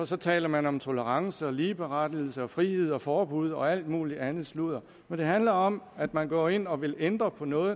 for taler man om tolerance og ligeberettigelse og frihed og forbud og alt muligt andet sludder men det handler om at man går ind og vil ændre på noget